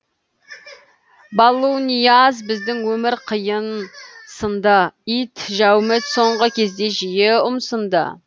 балуанияз біздің өмір қиын сын ды ит жәуміт соңғы кезде жиі ұмсынды